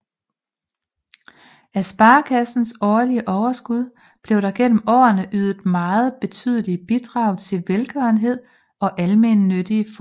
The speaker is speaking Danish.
Af sparekassens årlige overskud blev der gennem årene ydet meget betydelige bidrag til velgørende og almennyttige formål